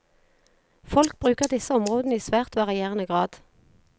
Folk bruker disse områdene i svært varierende grad.